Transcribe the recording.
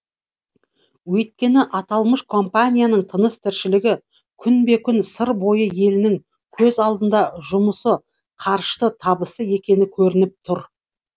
өйткені аталмыш компанияның тыныс тіршілігі күнбе күн сыр бойы елінің көз алдында жұмысы қарышты табысты екені көрініп тұр